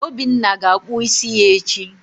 Obinna ga-akpụ isi ya echi.